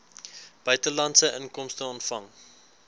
buitelandse inkomste ontvang